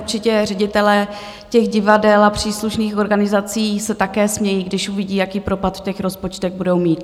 Určitě ředitelé těch divadel a příslušných organizací se také smějí, když uvidí, jaký propad v těch rozpočtech budou mít.